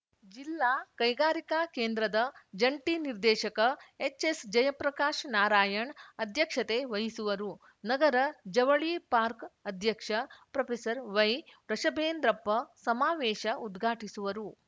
ಜಿಲ್ಲಾ ಕೈಗಾರಿಕಾ ಕೇಂದ್ರದ ಜಂಟಿ ನಿರ್ದೇಶಕ ಎಚ್‌ಎಸ್‌ಜಯಪ್ರಕಾಶ್ ನಾರಾಯಣ್ ಅಧ್ಯಕ್ಷತೆ ವಹಿಸುವರು ನಗರ ಜವಳಿ ಪಾರ್ಕ್ ಅಧ್ಯಕ್ಷ ಪ್ರೊವೈವೃಷಭೇಂದ್ರಪ್ಪ ಸಮಾವೇಶ ಉದ್ಘಾಟಿಸುವರು